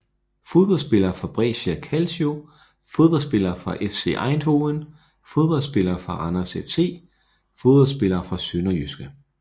Fodboldspillere fra Brescia Calcio Fodboldspillere fra FC Eindhoven Fodboldspillere fra Randers FC Fodboldspillere fra SønderjyskE